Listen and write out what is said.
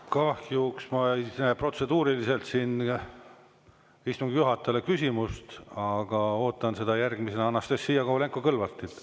Kahjuks ma ei näe protseduuriliselt siin istungi juhatajale küsimust, aga ootan seda järgmisena Anastassia Kovalenko-Kõlvartilt.